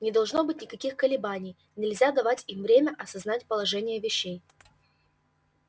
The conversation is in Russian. не должно быть никаких колебаний нельзя давать им время осознать положение вещей